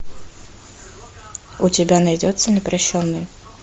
у тебя найдется непрощенный